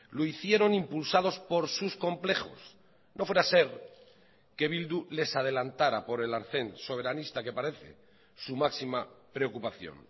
lo hicieron impulsados por sus complejos no fuera ser que bildu les adelantara por el arcén soberanista que parece su máxima preocupación